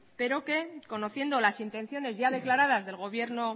pero que conociendo las intenciones ya declaradas del gobierno